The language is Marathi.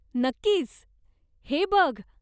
नक्कीच! हे बघ.